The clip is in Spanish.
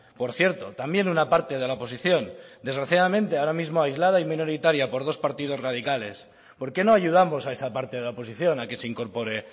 por cierto también una parte de la oposición desgraciadamente ahora mismo aislada y minoritaria por dos partidos radicales por qué no ayudamos a esa parte de la oposición a que se incorpore